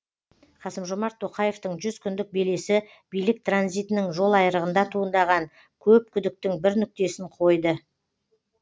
қасым жомарт тоқаевтың жүз күндік белесі билік транзитінің жолайрығында туындаған көп күдіктің бір нүктесін қойды